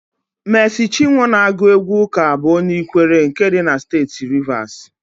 Meesị Chinwọ na-agụ égwú ụ́kà bụ onye Ikwere nke dị na Steeti Rivasi.